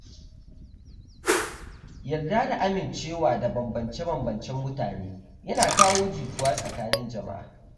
Yarda da amincewa da bambance-bambancen mutane yana kawo jituwa tsakanin jama'a.